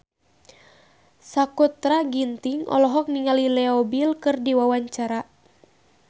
Sakutra Ginting olohok ningali Leo Bill keur diwawancara